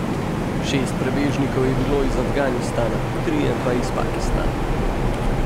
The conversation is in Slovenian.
Šest prebežnikov je bilo iz Afganistana, trije pa iz Pakistana.